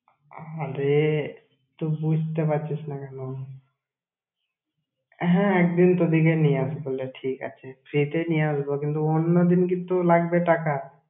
আরে, তুই বুঝতে পারছিস না কেন? হ্যাঁ, একদিন তো দেখি নিয়ে আসবো তাহলে, ঠিক আছে free তে নিয়ে আসবো কিন্তু, অন্যদিন কিন্তু লাগবে টাকা।